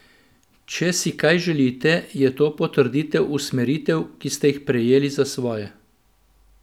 Če si kaj želite, je to potrditev usmeritev, ki ste jih sprejeli za svoje.